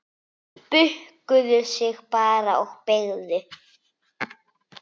Bukkuðu sig bara og beygðu!